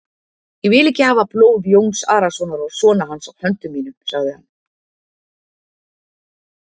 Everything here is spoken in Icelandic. Ég vil ekki hafa blóð Jóns Arasonar og sona hans á höndum mínum, sagði hann.